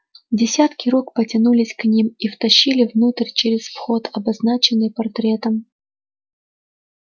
десятки рук потянулись к ним и втащили внутрь через вход обозначенный портретом